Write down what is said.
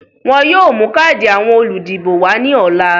Wọ́n yóò mú káàdì àwọn olùdìbò wá ní ọ̀la